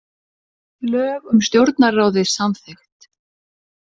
Lög um stjórnarráðið samþykkt